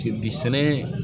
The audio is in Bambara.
sɛnɛ